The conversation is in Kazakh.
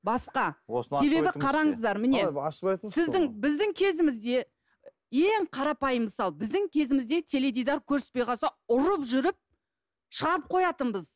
басқа себебі қараңыздар міне ашып айтыңызшы сіздің біздің кезімізде ең қарапайым мысал біздің кезімізде теледидар көрсетпей қалса ұрып жүріп шығарып қоятынбыз